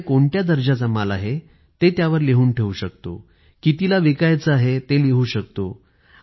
कुठल्या दर्जाचा माल त्याच्या जवळ आहे हे तो लिहून पाठवू शकतो तसेच विक्री किंमत तो लिहू शकतो